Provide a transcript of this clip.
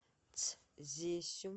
цзесю